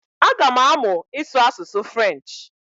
Aga m amụ ịsụ asụsụ french